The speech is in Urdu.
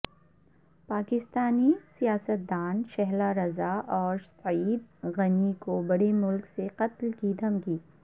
پاکستانی سیاستدان شہلا رضا اور سعید غنی کوبڑے ملک سے قتل کی دھمکی